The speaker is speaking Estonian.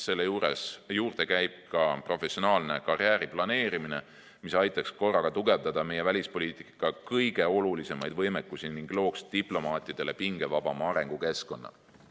Selle juurde käib ka professionaalne karjääriplaneerimine, mis aitaks korraga tugevdada meie välispoliitika kõige olulisemaid võimekusi ning looks diplomaatidele pingevabama arengukeskkonna.